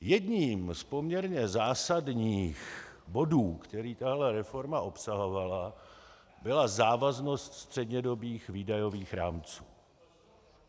Jedním z poměrně zásadních bodů, který tato reforma obsahovala, byla závaznost střednědobých výdajových rámců.